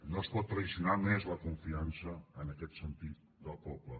no es pot trair més la confiança en aquest sentit del poble